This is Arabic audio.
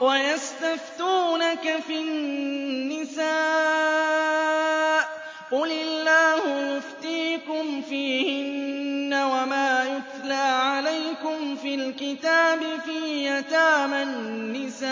وَيَسْتَفْتُونَكَ فِي النِّسَاءِ ۖ قُلِ اللَّهُ يُفْتِيكُمْ فِيهِنَّ وَمَا يُتْلَىٰ عَلَيْكُمْ فِي الْكِتَابِ فِي يَتَامَى النِّسَاءِ